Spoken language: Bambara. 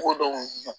Ko dɔw